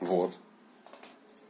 вот